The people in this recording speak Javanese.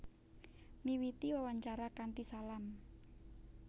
Miwiti wawancara kanthi salam